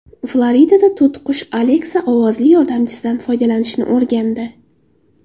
Floridada to‘tiqush Alexa ovozli yordamchisidan foydalanishni o‘rgandi.